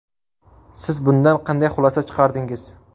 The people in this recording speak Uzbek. Siz bundan qanday xulosa chiqardingiz?